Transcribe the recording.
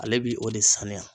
Ale bi o de saniya